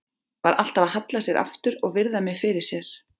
Var alltaf að halla sér aftur og virða mig fyrir sér.